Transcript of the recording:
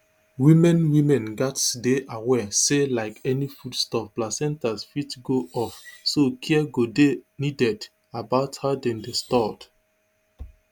women women gatz dey aware say like any foodstuff placentas fit go off so care go dey needed about how dem dey stored